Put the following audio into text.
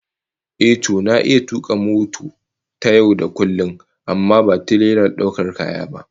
Ehh, to na iya tuka mota ta yau da kullum amma ba tirelar daukar kaya ba